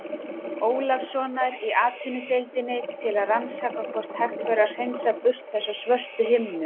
Ólafssonar í Atvinnudeildinni til að rannsaka hvort hægt væri að hreinsa burt þessa svörtu himnu.